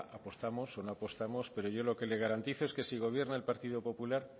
apostamos o no apostamos pero yo lo que le garantizo es que si gobierna el partido popular